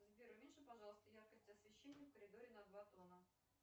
сбер уменьши пожалуйста яркость освещения в коридоре на два тона